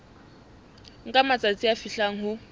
nka matsatsi a fihlang ho